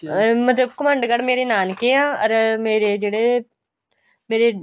ਅਹ ਮਤਲਬ ਘੁਮੰਡਗੜ ਮੇਰੇ ਨਾਨਕੇ ਆ ਅਰ ਮੇਰੇ ਜਿਹੜੇ ਮੇਰੇ